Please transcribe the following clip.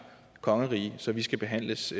kongerige så vi skal behandles